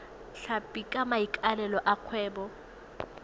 tlhapi ka maikaelelo a kgwebo